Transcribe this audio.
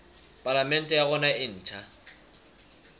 palamente ya rona e ntjha